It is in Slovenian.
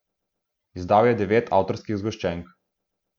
Izdal je devet avtorskih zgoščenk.